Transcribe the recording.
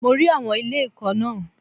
Mo rí àwọn ilé ìkọ́ náà.